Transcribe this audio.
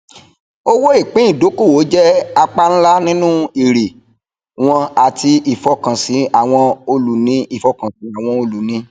owó ìpín ìdókòwò jẹ apá ńlá ninu èrè wọn àti ìfọkànsí àwọn olùní ìfọkànsí àwọn olùní